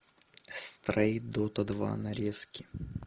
стрей дота два нарезки